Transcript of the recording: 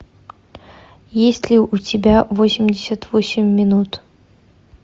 есть ли у тебя восемьдесят восемь минут